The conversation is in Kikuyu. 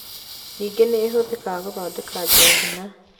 Ningĩ nĩ ĩhũthĩkaga gũthondeka njohi na